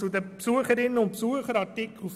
Zu den Anträgen zu Artikel 34: